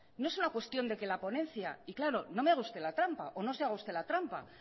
no es una cuestión de que la ponencia y claro no me haga usted la trampa o no se haga usted la trampa